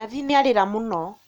Nathi nĩarĩra mũno